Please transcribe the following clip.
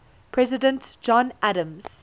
president john adams